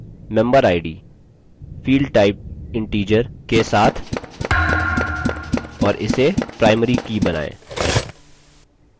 member id field typeinteger के साथ और इसे primary की बनायें